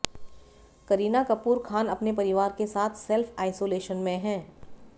करीना कपूर खान अपने परिवार के साथ सेल्फ आइसोलेशन में हैं